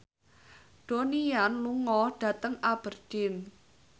Donnie Yan lunga dhateng Aberdeen